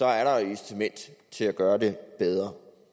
er et incitament til at gøre det bedre